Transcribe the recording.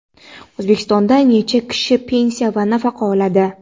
O‘zbekistonda necha kishi pensiya va nafaqa oladi?.